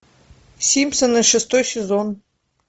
симпсоны шестой сезон